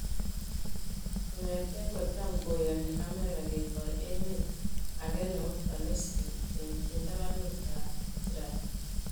Kong'ete ko cham ko yani Amerika ketoi emet age nebo Palestin eng tabanut ab Israel